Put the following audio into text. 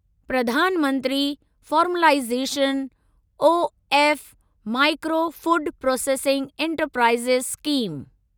प्रधान मंत्री formalisation of micro food processing enterprises scheme